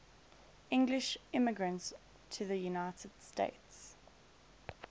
english immigrants to the united states